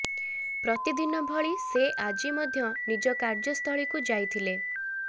ପ୍ରତିଦିନ ଭଳି ସେ ଆଜି ମଧ୍ୟ ନିଜ କାର୍ଯ୍ୟସ୍ଥଳୀକୁ ଯାଇଥିଲେ